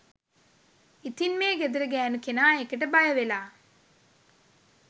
ඉතින් මේ ගෙදර ගෑනු කෙනා ඒකට බය වෙලා